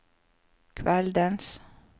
kveldens